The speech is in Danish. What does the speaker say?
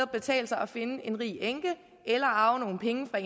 betale sig at finde en rig enke eller arve nogle penge fra